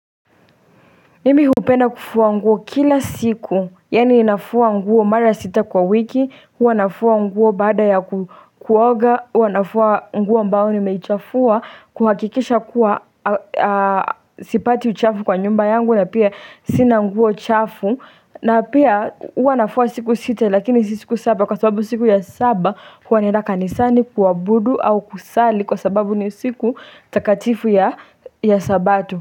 Mimi hupenda kufuwa nguo kila siku, yani nafua nguo mara sita kwa wiki, hua nafua nguo bada ya kuoga, hua nafua nguo ambao nimechafua, kuhakikisha kuwa sipati uchafu kwa nyumba yangu na pia sina nguo chafu na pia hua nafua siku sita lakini si siku saba kwa sababu siku ya saba hua naenda kanisani kuwa budu au kusali kwa sababu ni siku takatifu ya sabato.